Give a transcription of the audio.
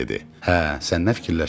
Hə, sən nə fikirləşirsən?